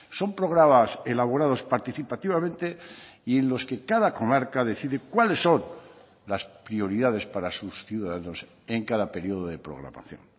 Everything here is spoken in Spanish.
son programas elaborados participativamente y en los que cada comarca decide cuáles son las prioridades para sus ciudadanos en cada periodo de programación